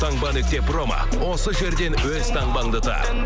таңба нүкте промо осы жерден өз таңбаңды тап